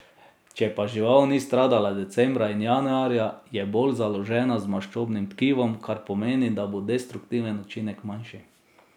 Če pa žival ni stradala decembra in januarja, je bolj založena z maščobnim tkivom, kar pomeni, da bo destruktiven učinek manjši.